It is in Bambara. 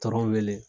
wele